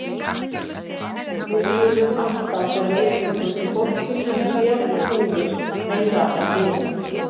Við skulum alltaf bera virðingu fyrir fólki sem sér og heyrir meira en við.